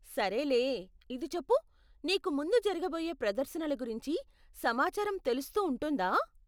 సరేలే, ఇది చెప్పు, నీకు ముందు జరగబోయే ప్రదర్శనల గురించి సమాచారం తెలుస్తూ ఉంటుందా?